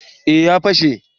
eh ya fashe